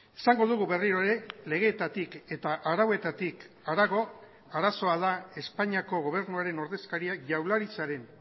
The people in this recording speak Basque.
esango dugu berriro ere legetatik eta arauetatik harago arazoa da espainiako gobernuaren ordezkariak jaurlaritzaren